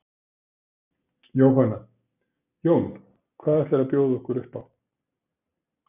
Jóhanna: Jón, hvað ætlarðu að bjóða okkur upp á?